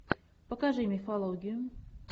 покажи мифологию